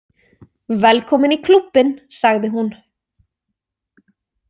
Velkomin í klúbbinn, sagði hún.